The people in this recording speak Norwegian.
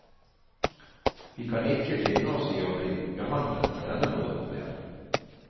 Vi kan ikke finne oss i å bli behandlet på denne måten mer.